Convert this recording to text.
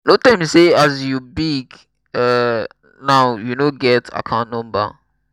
no tell me say as you big um now you no get account number.